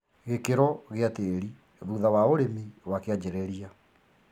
Gĩkĩro gĩa tĩri thutha wa ũrĩmi wa kĩanjĩrĩria